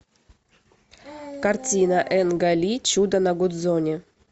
картина энга ли чудо на гудзоне